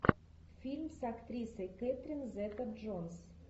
фильм с актрисой кэтрин зета джонс